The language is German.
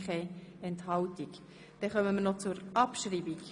Wir kommen zur Abschreibung.